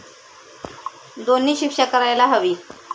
दोन्ही शिक्षा करायला हवी.